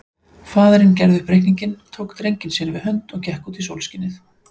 Faðirinn gerði upp reikninginn, tók drenginn sér við hönd og gekk út í sólskinið.